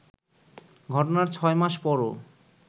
ঘটনার ছয় মাস পরও